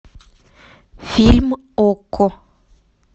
фильм окко